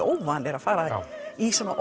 óvanir að fara í svona